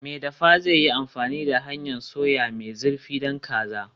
Mai dafa zai yi amfani da hanyar soya mai zurfi don kaza.